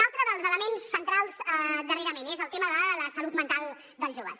un altre dels elements centrals darrerament és el tema de la salut mental dels joves